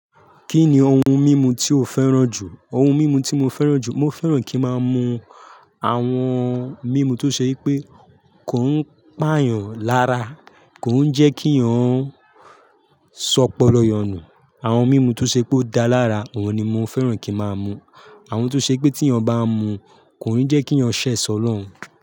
Kí ni ohun mímu tí o fẹ́ràn jù? Ohun mímu tí mo fẹ́ràn jù, mo fẹ́ràn kí máa mu àwọn mímu tó ṣe pé kò ń pà yàn lára, kò ń jẹ́ kí yàn sọpọ̀ lọyanu, àwọn mímu tó ṣe pé ó dá lára, ìwọ̀n ni mo fẹ́ràn kí máa mu. Àwọn tó ṣe pé tí yàn bá mu, kò ní jẹ́ kí yàn ṣẹ̀ sọ lọ́un.